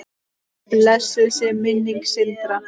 Blessuð sé minning Sindra.